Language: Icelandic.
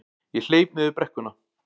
Ég hleyp niður brekkuna.